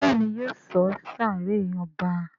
Béèni yóò sọ sáré ọba.